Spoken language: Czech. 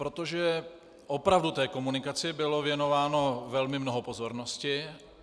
Protože opravdu té komunikaci bylo věnováno velmi mnoho pozornosti.